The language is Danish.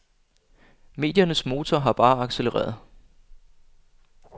Mediernes motor har bare accellereret.